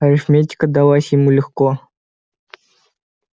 арифметика далась ему легко